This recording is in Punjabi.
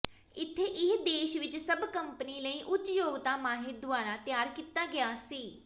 ਇਥੇ ਇਹ ਦੇਸ਼ ਵਿਚ ਸਭ ਕੰਪਨੀ ਲਈ ਉੱਚ ਯੋਗਤਾ ਮਾਹਿਰ ਦੁਆਰਾ ਤਿਆਰ ਕੀਤਾ ਗਿਆ ਸੀ